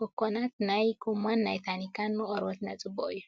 ኮኮና ናይ ጎማን ናይ ታኒካን ንቆርበትናን ፅቡቅ እዩ።